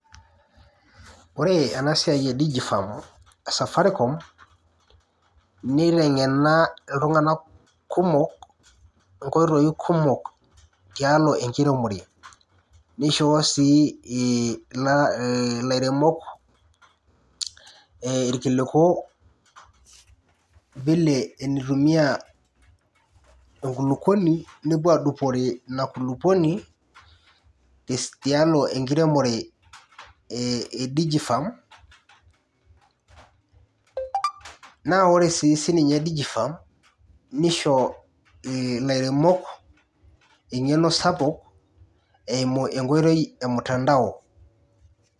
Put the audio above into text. Kore ena siai e DigiFarm e Safaricom, neitengena iltung'ana kumok, oo nkoitoi kumok tialo enkiremore, neishoo sii ilairemok irkiliku vile enitumia enkulukuoni nepuo aadupore ina kulukwoni tialo enkiremore e DigiFarm, naa kore sii sininye DigiFarm, nisho ilairemok engeno sapuk eimu enkoitoi e mtandao.